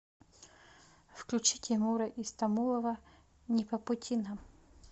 включи тимура истамулова не по пути нам